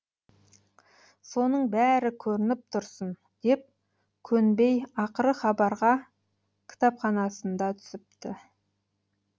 соның бәрі көрініп тұрсын деп көнбей ақыры хабарға кітапханасында түсіпті